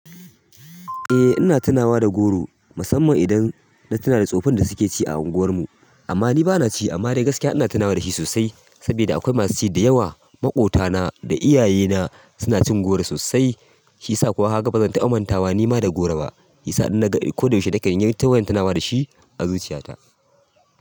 Eh ina tunawa da goro, musamman idan na tuna da tsoffin da suke ci a unguwarmu. Amma ni ba na ci amma dai gaskiya ina tunawa da shi sosai saboda akwai masu ci da yawa. Maƙota na da iyaye na suna cin goro sosai, shi yasa kuma ni ma ba zan taɓa mantawa da goro ba. Yasa in na ga ko da yaushe da kan yawan tunawa da shi a zuciyata.